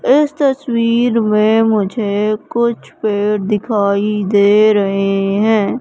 इस तस्वीर में मुझे कुछ पेड़ दिखाई दे रहें हैं।